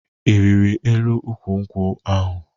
Ị rịrị elu ukwu nkwụ ahụ?